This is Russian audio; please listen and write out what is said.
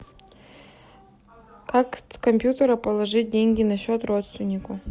как с компьютера положить деньги на счет родственнику